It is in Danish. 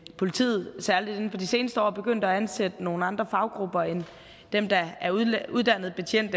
politiet særlig inden for de seneste år er begyndt at ansætte nogle andre faggrupper end dem der er uddannet uddannet betjent